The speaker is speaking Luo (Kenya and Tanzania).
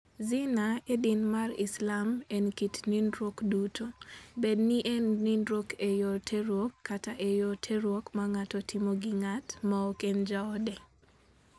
Zina e din mar Islam, en kit nindruok duto, bed ni en nindruok e yor terruok kata e yor terruok ma ng'ato timo gi ng'at ma ok en jaode.